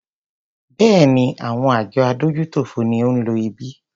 Béèni, àwọn àjọ adójútòfò ni ó ń lo ibí.